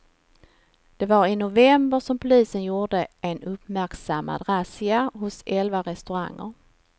Det var i november som polisen gjorde en uppmärksammad razzia hos elva restauranger.